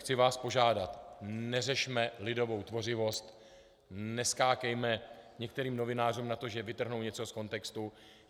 Chci vás požádat, neřešme lidovou tvořivost, neskákejme některým novinářům na to, že vytrhnou něco z kontextu.